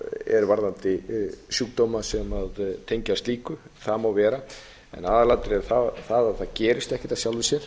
er varðandi sjúkdóma sem tengjast slíku það má vera en aðalatriðið er það að það gerist ekkert af sjálfu sér